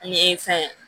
Ni ye fɛn ye